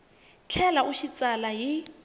tlhela u xi tsala hi